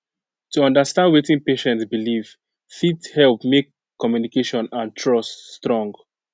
to understand wetin patient believe fit help make communication and trust strong